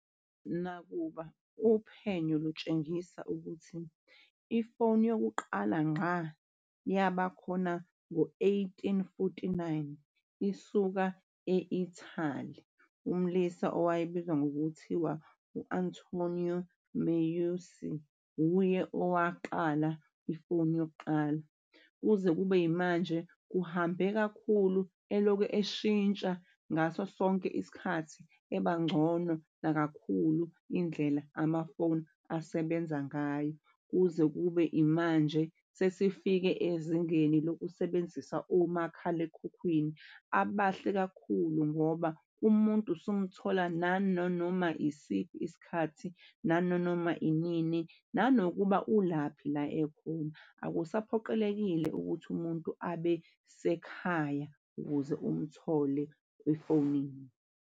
Nakuba uphenyo lutshengisa ukuthi ifoni yokuqala ngqa yabakhona ngo-eighteen forty-nine isuka e-Italy, umlisa owayebizwa ngokuthiwa u-Antonio Meucci wuye owaqala ifoni yokuqala. Kuze kube yimanje kuhambe kakhulu elokhu eshintsha ngaso sonke isikhathi ebangcono kakhulu indlela amafoni asebenza ngayo kuze kube imanje. Sesifike ezingeni lokusebenzisa omakhalekhukhwini abahle kakhulu ngoba umuntu usumthola nananoma isiphi isikhathi, nananoma inini, nanokuba ulaphi la ekhona. Akusaphoqelekile ukuthi umuntu abe sekhaya ukuze umthole efonini.